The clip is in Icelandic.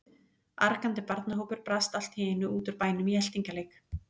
Argandi barnahópur brast allt í einu út úr bænum í eltingaleik.